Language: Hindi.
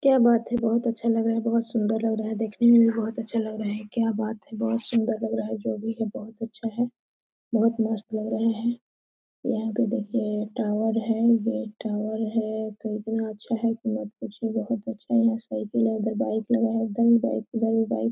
क्या बात है! बहोत अच्छा लग रहा है बहोत सुन्दर लग रहा है देखने भी में यह बहोत अच्छा लग रहा। क्या बात है! बहोत सुन्दर लग रहा है जो भी है बहोत अच्छा है बहोत मस्त लग रहे है यहाँ पे देखिए एक टावर है बहोत टावर है कितना अच्छा है यह तस्वीर बहोत अच्छा है साइकिल है उधर बाइक है इधर भी बाइक उधर भी बाइक ।